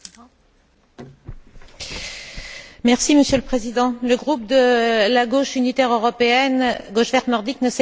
Monsieur le Président, le groupe de la Gauche unitaire européenne Gauche verte nordique ne s'est pas associé à la résolution qui nous est proposée aujourd'hui.